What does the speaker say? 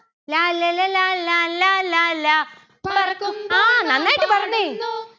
ലാല്ലല ലാലാ ലാലാ ലാ. പറക്കുമ്പോൾ